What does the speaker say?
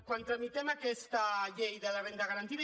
quan tramitem aquesta llei de la renda garantida